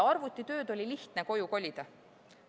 Arvutitööd oli lihtne koju kolida.